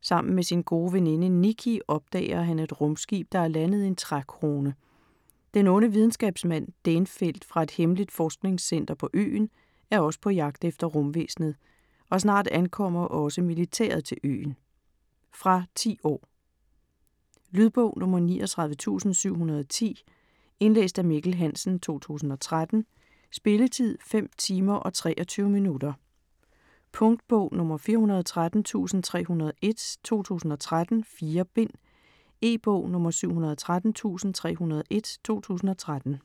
Sammen med sin gode veninde Nikki opdager han et rumskib, der er landet i en trækrone. Den onde videnskabsmand, Dæhnfeldt fra et hemmeligt forskningscenter på øen er også på jagt efter rumvæsenet, og snart ankommer også militæret til øen. Fra 10 år. Lydbog 39710 Indlæst af Mikkel Hansen, 2013. Spilletid: 5 timer, 23 minutter. Punktbog 413301 2013. 4 bind. E-bog 713301 2013.